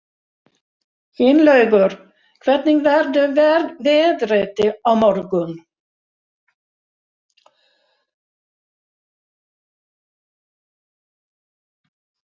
Finnlaugur, hvernig verður veðrið á morgun?